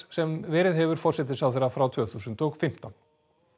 sem verið hefur forsætisráðherra frá tvö þúsund og fimmtán